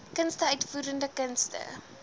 kunste uitvoerende kunste